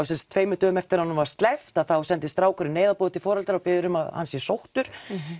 sem sagt tveimur dögum eftir að honum var sleppt sendi strákurinn til foreldra og biður um að hann sé sóttur